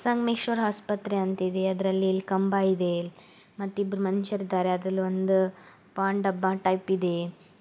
ಸಂಗಮೇಶ್ವರ್ ಆಸ್ಪತ್ರೆ ಅಂತ ಇದೆ ಅದರಲ್ಲಿ ಕಂಬ ಇದೆ ಮತ್ತು ಇಬ್ಬರು ಮನುಷ್ಯರಿದ್ದಾರೆ ಅದರಲ್ಲಿ ಒಂದ ಪಾನ್ ಡಬ್ಬ ಟೈಪ್ ಇದೆ .